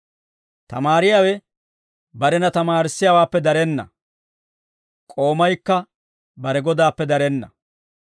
«Tamaariyaawe barena tamaarissiyaawaappe darenna; k'oomaykka bare godaappe darenna.